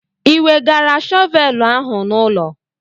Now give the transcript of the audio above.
Ị wegara shọvelụ ahụ n'ụlọ?